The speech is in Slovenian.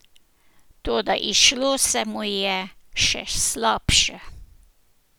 Toda izšlo se mu je še slabše.